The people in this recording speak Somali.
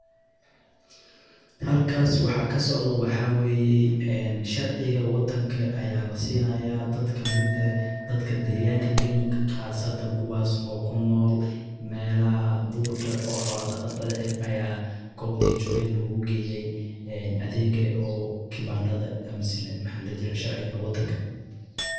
xalkas waxa kasocdho waxa weyey, enn sharciga wadanka aya lasinaya dad kamid ehh dadka deganga dagan qasatan kuwas o kunol melaxa durka o xola daqatadha ehh aya gobtay jogen logugeyey adhega o kibanda amese sharciga wadanka.